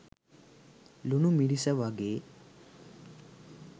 ලුණු මිරිස වගේ